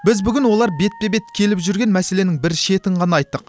біз бүгін олар бетпе бет келіп жүрген мәселенің бір шетін ғана айттық